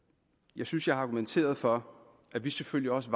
jeg synes jeg har argumenteret for at vi selvfølgelig også